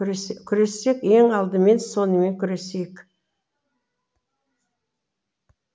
күрессек ең алдымен сонымен күресейік